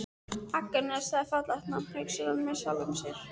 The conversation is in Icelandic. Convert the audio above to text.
Agnes, það er fallegt nafn, hugsar hann með sjálfum sér.